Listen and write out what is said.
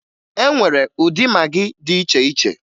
E nwere ụdị magị dị iche iche